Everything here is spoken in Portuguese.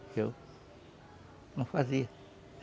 Porque eu não fazia.